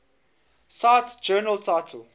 cite journal title